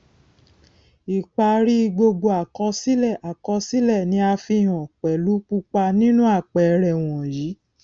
ipari gbogbo àkọsílẹ àkọsílẹ ni a fihàn pelu pupa ninu àpẹẹrẹ wọnyíí